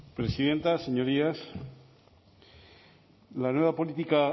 presidenta señorías la nueva política